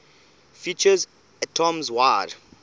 features atoms wide